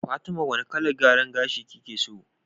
Fatima wane kalar gyaran gashi kike so?